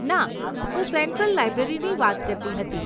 ના, હું સેન્ટ્રલ લાઈબ્રેરીની વાત કરતી હતી.